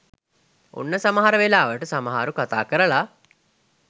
ඔන්න සමහර වෙලාවට සමහරු කතාකරල